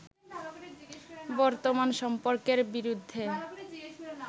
বর্তমান সম্পর্কের বিরুদ্ধে